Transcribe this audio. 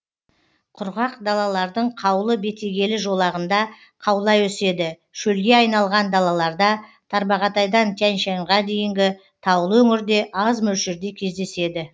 құрғақ далалардың қаулы бетегелі жолағында қаулай өседі шөлге айналған далаларда тарбағатайдан тянь шаньға дейінгі таулы өңірде аз мөлшерде кездеседі